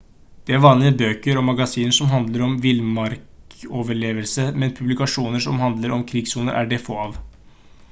det er vanlig med bøker og magasiner som handler om villmarksoverlevelse men publikasjoner som handler om krigssoner er det få av